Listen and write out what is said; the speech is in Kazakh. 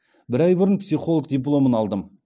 бір ай бұрын психолог дипломын алдым